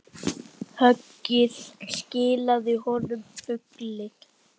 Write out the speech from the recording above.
Höggið skilaði honum fugli.